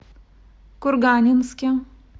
курганинске